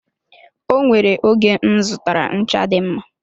O nwere oge m zụtara ncha dị mma.